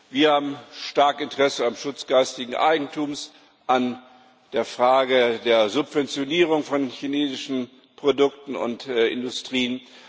Wir haben ein starkes Interesse am Schutz des geistigen Eigentums, an der Frage der Subventionierung von chinesischen Produkten und Industrien.